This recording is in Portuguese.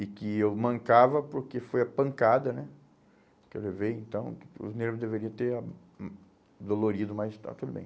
E que eu mancava porque foi a pancada né que eu levei, então os nervos deveriam ter ah hum dolorido, mas está tudo bem.